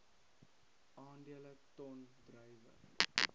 aandele ton druiwe